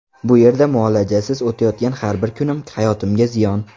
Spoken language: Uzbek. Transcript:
Bu yerda muolajasiz o‘tayotgan har bir kunim hayotimga ziyon.